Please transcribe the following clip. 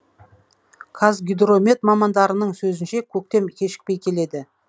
қазгидромет мамандарының сөзінше көктем кешікпей келеді